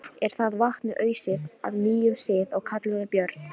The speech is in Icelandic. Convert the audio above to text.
Er það vatni ausið að nýjum sið og kallað Björn.